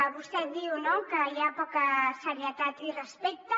vostè diu que hi ha poca serietat i respecte